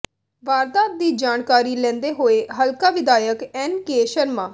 ਵਾਰਦਾਤ ਦੀ ਜਾਣਕਾਰੀ ਲੈਂਦੇ ਹੋਏ ਹਲਕਾ ਵਿਧਾਇਕ ਐੱਨਕੇ ਸ਼ਰਮਾ